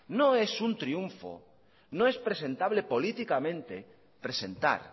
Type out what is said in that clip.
no es un triunfo no es presentable políticamente presentar